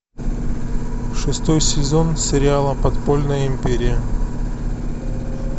шестой сезон сериала подпольная империя